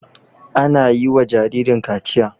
Ana yi wa jaririn kaciya.